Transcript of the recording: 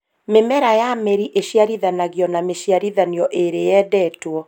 Mĩmera ya mĩri ĩciarithanagio na mĩciarithanio ĩrĩa yendetwo